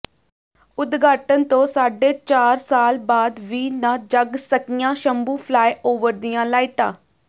ਉਦਘਾਟਨ ਤੋਂ ਸਾਢੇ ਚਾਰ ਸਾਲ ਬਾਅਦ ਵੀ ਨਾ ਜਗ ਸਕੀਆਂ ਸ਼ੰਭੂ ਫਲਾਈਓਵਰ ਦੀਆਂ ਲਾਈਟਾਂ